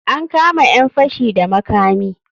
An kama ƴan fashi da makami.